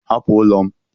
Hapụ ụlọ m!